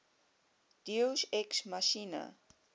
deus ex machina